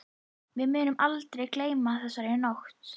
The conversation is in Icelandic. Við munum aldrei gleyma þessari nótt.